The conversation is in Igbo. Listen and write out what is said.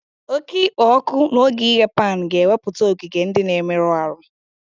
Oke ikpo ọkụ n'oge ighe pan ga-ewepụta ogige ndị na-emerụ ahụ